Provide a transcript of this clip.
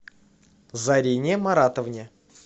зарине маратовне